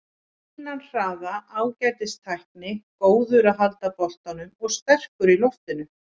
Fínan hraða, ágætis tækni, góður að halda boltanum og sterkur í loftinu.